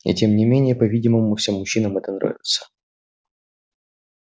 и тем не менее по-видимому всем мужчинам это нравится